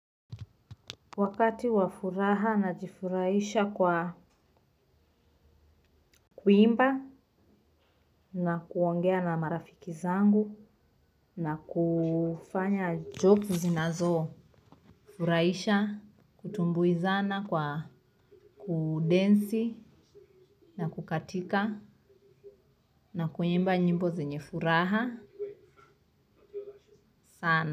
Wakati wafuraha na jifurahisha kwa kuimba na kuongea na marafiki zangu na kufanya jokes zinazo furahisha kutumbuizana kwa kudensi na kukatika na kuimba nyimbo zenye furaha sana.